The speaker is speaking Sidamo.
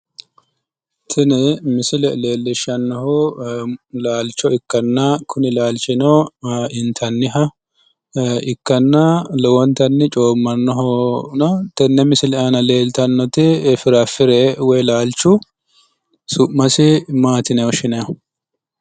Tini misile lellishshannohu laalcho ikkanna kuni laalchino guma intanniha ikkanna, lowontanni coommannohono tenne misile aana leeltannoti firaafire woyi laalchu giddo su'mase mati yineeti woshshinayiihu?